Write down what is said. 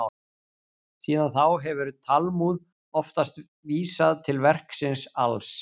Síðan þá hefur Talmúð oftast vísað til verksins alls.